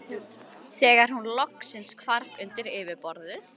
þegar hún loksins hvarf undir yfirborðið.